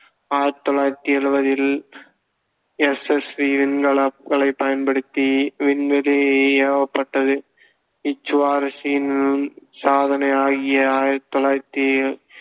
ஆயிரத்தி தொள்ளாயிரத்தி எழுபதில் SSV விண்கலன்களைப் பயன்படுத்தி விண்வெளியில் ஏவப்பட்டது சாதனை ஆகிய ஆயிரத்தி தொள்ளாயிரத்து